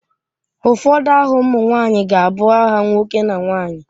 Ụfọdụ aha ụmụ nwanyị ga-abụ aha nwoke na nwaanyị.